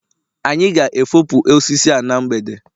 anyị ga-efopụ osisi a na mgbede